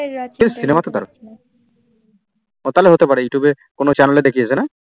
এই সিনেমাটা দারুন তাহলে হতে পারে youtube এ কোন channel দেখিয়েছে না?